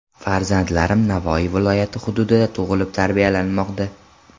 Farzandlarim Navoiy viloyati hududida tug‘ilib, tarbiyalanmoqda.